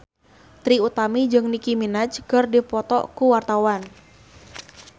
Trie Utami jeung Nicky Minaj keur dipoto ku wartawan